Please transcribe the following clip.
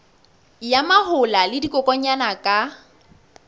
ya mahola le dikokwanyana ka